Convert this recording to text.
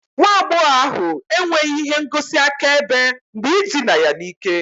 Nwa agbọghọ ahu enweghị ihe ngosi akaebe maka ịdịna ya n'ike